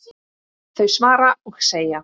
þau svara og segja